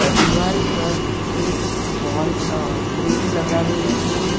દિવાલ પર એક વોલ અ ફ્રેમ લગાવેલ છે.